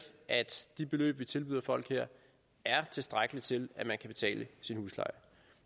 at de beløb vi tilbyder folk her er tilstrækkelige til at man kan betale sin husleje